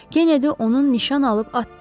Kenedi onun nişan alıb atdı.